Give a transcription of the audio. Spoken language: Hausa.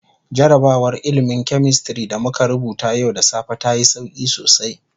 Jarrabawar ilmin "chemistry" da muka rubuta yau da safe ta yi sauki sosai.